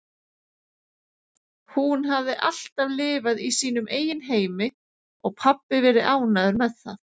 Hún hafði alltaf lifað í sínum eigin heimi og pabbi verið ánægður með það.